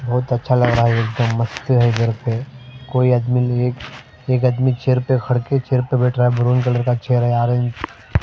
बहुत अच्छा लग रहा है एकदम मस्त है इधर पे कोई आदमी एक आदमी चेयर पे खड़ के चेयर पे बैठ रहा है ब्राउन कलर का चेहरा है ऑरेंज --